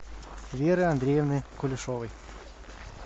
веры андреевны кулешовой